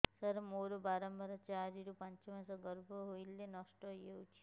ସାର ମୋର ବାରମ୍ବାର ଚାରି ରୁ ପାଞ୍ଚ ମାସ ଗର୍ଭ ହେଲେ ନଷ୍ଟ ହଇଯାଉଛି